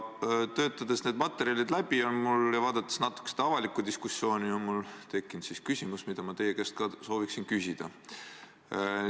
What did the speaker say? Neid materjale läbi töötades ja natuke seda avalikku diskussiooni vaadates on mul tekkinud küsimus, mida ma sooviksin teie käest ka küsida.